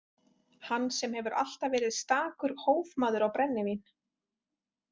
Hann sem hefur alltaf verið stakur hófmaður á brennivín.